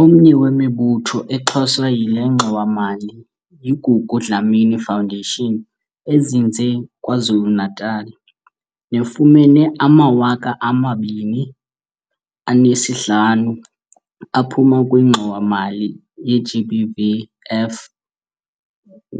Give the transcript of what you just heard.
Omnye wemibutho exhaswa yile ngxowa-mali yi-Gugu Dlamini Foundation ezinze KwaZulu-Natal, nefumene ama-R250 000 aphuma kwiNgxowa-mali ye-GBVF